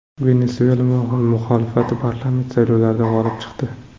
Venesuela muxolifati parlament saylovlarida g‘olib chiqdi .